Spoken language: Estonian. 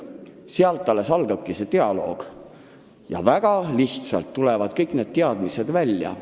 Sealt alles dialoog algabki ja väga lihtsalt tuleb kogu see info välja.